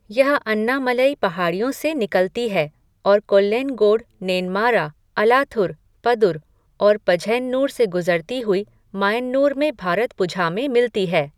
यह अन्नामलई पहाड़ियों से निकलती है और कोल्लेनगोड, नेनमारा, अलाथुर, पदुर और पझयन्नूर से गुजरती हुई मायन्नूर में भारतपुझा में मिलती है।